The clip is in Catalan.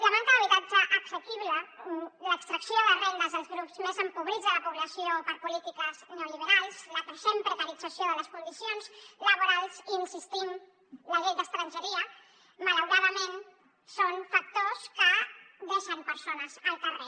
la manca d’habitatge assequible l’extracció de rendes als grups més empobrits de la població per polítiques neoliberals la creixent precarització de les condicions laborals i hi insistim la llei d’estrangeria malauradament són factors que deixen persones al carrer